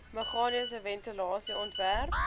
meganiese ventilasie ontwerp